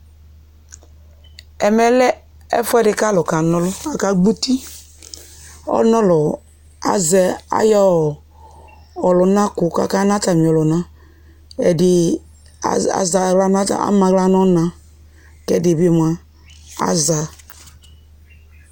Ɛmɛ lɛ ɛfʋɛdɩ kʋ alʋ kana ɔlʋ Akagbɔ eti kʋ ɔlʋ nʋ ɔlʋ azɛ ayʋ ɔlʋnakʋ kʋ akana atamɩɔlʋna Ɛdɩ azɛ aɣla ama aɣla nʋ ɔna la kʋ ɛdɩ bɩ mʋa aza